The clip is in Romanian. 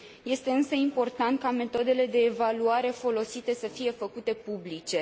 Este, însă, important ca metodele de evaluare folosite să fie făcute publice.